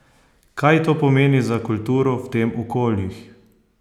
Kaj to pomeni za kulturo v teh okoljih?